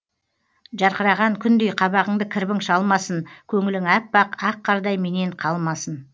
жарқыраған күндей қабағыңды кірбің шалмасын көңілің аппақ ақ қардай менен қалмасын